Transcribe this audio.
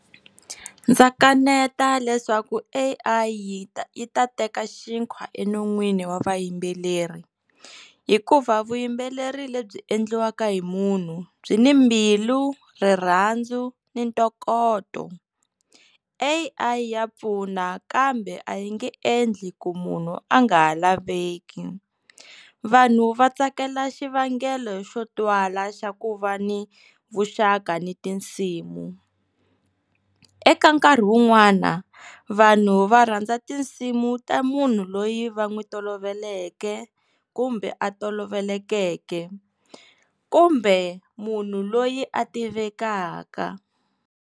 Ndza kaneta leswaku A_I yi ta yi ta teka xinkwa enon'wini wa vayimbeleri hikuva vuyimbeleri lebyi endliwaka hi munhu byi ni mbilu rirhandzu ni ntokoto. A_I ya pfuna kambe a yi nge endli ku munhu a nga ha laveki vanhu va tsakela xivangelo xo twala xa ku va ni vuxaka ni tinsimu, eka nkarhi wun'wana vanhu va rhandza tinsimu ta munhu loyi va n'wi toloveleke kumbe a tolovelekeke kumbe munhu loyi a tivekaka.